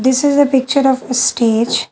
This is a picture of a stage.